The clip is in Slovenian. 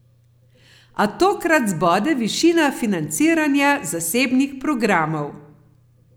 A tokrat zbode višina financiranja zasebnih programov.